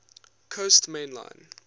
coast main line